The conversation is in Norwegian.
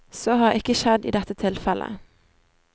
Så har ikke skjedd i dette tilfellet.